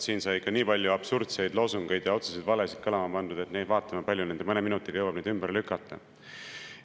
Siin sai ikka nii palju absurdseid loosungeid ja otseseid valesid kõlama pandud, et vaatame, kui palju nende mõne minutiga jõuab neid ümber lükata.